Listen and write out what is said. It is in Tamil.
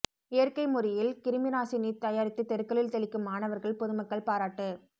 இயற்கை முறையில் கிருமி நாசினி தயாரித்து தெருக்களில் தெளிக்கும் மாணவா்கள் பொதுமக்கள் பாராட்டு